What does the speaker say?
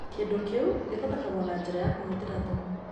Kĩndũ kĩu gĩthondekagwo na njĩra ya kũhũthĩra thumu.